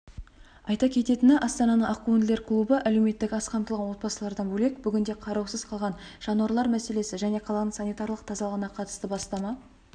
айта кететіні астананың ақкөңілдер клубы әлеуметтік аз қамтылған отбасылардан бөлек бүгінде қараусыз қалаған жануарлар мәселесі және қаланың санитарлық тазалығына қатысты бастама